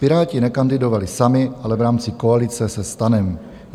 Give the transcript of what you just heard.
Piráti nekandidovali sami, ale v rámci koalice se STANem.